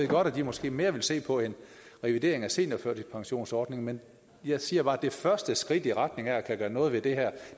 godt at de måske mere vil se på en revidering af seniorførtidspensionsordningen men jeg siger bare at det første skridt i retning af at kunne gøre noget ved det her